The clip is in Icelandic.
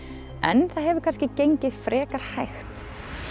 en það hefur kannski gengið frekar hægt